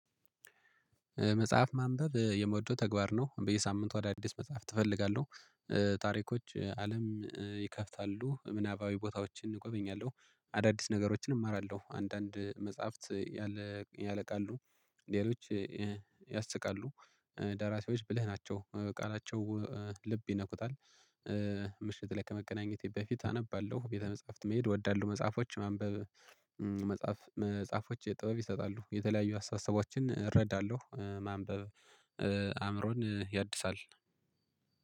መጽሐፍ ማንበብ የመውደው ተግባር ነው በየሳምንቱ አዳዲስ መጽሐፍ ትፈልጋለሁ። ታሪኮች አለም ይከፍታሉ ምናባዊ ቦታዎችን እጎበኛለሁ። አዳዲስ ነገሮችን እማራለሁ አንዳንድ መጽሐፍት። ያለቃሉ ሌሎች ያስቃሉ። ደራሲዎች ብልህ ናቸው ቃላቸው ልብ ይነኩታል። ምሽት ላይ ከመገናኘቴ በፊት አነባለሁ ቤተ መጽሐፍት መሄድ እወዳለሁ። መጽሐፎች ማንበብ። መጽሐፎች ጥበብ ይሰጣሉ የተለያዩ አስተሳሰቦችን እረዳለሁ ማንበብ አእምሮን ያድሳል